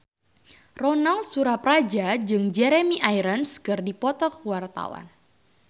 Ronal Surapradja jeung Jeremy Irons keur dipoto ku wartawan